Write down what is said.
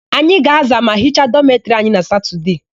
Anyị ga-aza ma hicha dọmetịrị anyị na satọdee.